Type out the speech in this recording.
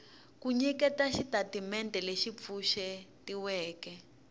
ku nyiketa xitatimendhe lexi pfuxetiweke